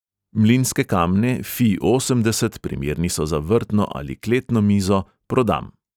Mlinske kamne, fi osemdeset, primerni so za vrtno ali kletno mizo, prodam.